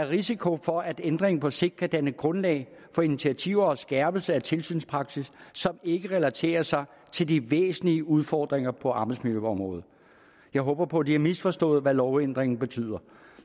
risiko for at ændringen på sigt kan danne grundlag for initiativer og en skærpelse af tilsynspraksis som ikke relaterer sig til de væsentligste udfordringer på arbejdsmiljøområdet jeg håber på at de har misforstået hvad lovændringen betyder